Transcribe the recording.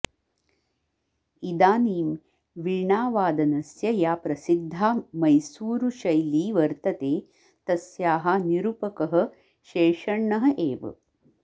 इदानीं वीणावादनस्य या प्रसिद्धा मैसूरुशैली वर्तते तस्याः निरुपकः शेषण्णः एव